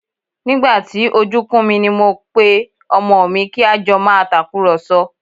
Nígbà tí ojú kún mi ni mo pe pé ọmọ mi kí a jọ máa tàkùrọ̀sọ